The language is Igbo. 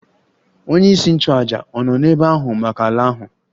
Onyeisi nchụàjà ọ̀ nọ n'ebe ahụ maka ala ahụ?